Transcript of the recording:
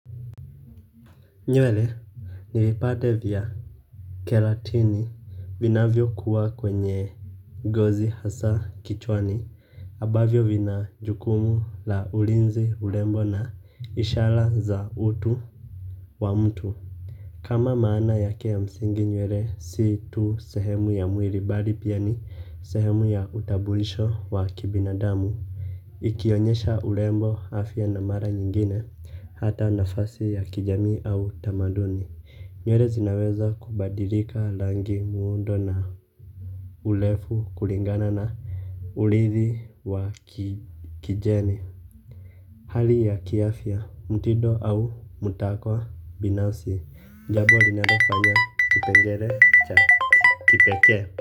Nywele, nilipata vya keratini vinavyokuwa kwenye gozi hasa kichwani ambavyo vina jukumu la ulinzi urembo na ishara za utu wa mtu. Kama maana yake ya msingi nywele, si tu sehemu ya mwili bali pia ni sehemu ya utambulisho wa kibinadamu. Ikionyesha urembo afya na mara nyingine hata nafasi ya kijamii au tamaduni nywele zinaweza kubadilika rangi muundo na urefu kulingana na ulithi wa kijeni. Hali ya kiafya, mtindo au mtakwa binafsi, jambo linalofanya kipengele cha kipekee.